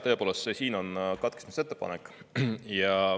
tõepoolest, see siin on katkestamisettepanek.